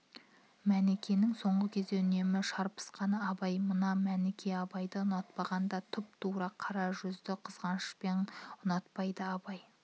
мәнікенің соңғы кезде үнемі шарпысқаны абай мынау мәніке абайды ұнатпағанда тұп-тура қара жүзді қызғанышпен ұнатпайды абай